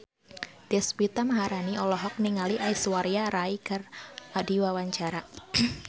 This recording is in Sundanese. Deswita Maharani olohok ningali Aishwarya Rai keur diwawancara